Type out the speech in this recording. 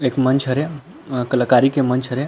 एक मंच हरे अ कलाकारी के मंच हरे।